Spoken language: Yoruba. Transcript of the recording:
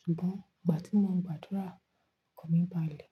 Ṣùgbọ́n ìgbà tí mo ń gbàdúrà, ọkàn mi balẹ̀.